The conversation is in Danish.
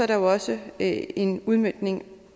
der også en en udmøntning